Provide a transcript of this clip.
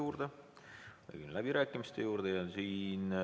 Edasi liigume läbirääkimiste juurde.